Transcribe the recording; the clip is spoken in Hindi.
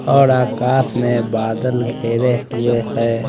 और आकाश में बादल घेरे हुए है।